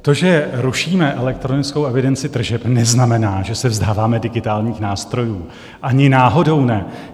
To, že rušíme elektronickou evidenci tržeb, neznamená, že se vzdáváme digitálních nástrojů, ani náhodou ne.